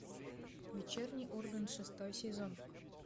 вечерний ургант шестой сезон